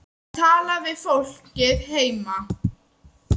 Að tala við fólkið heima.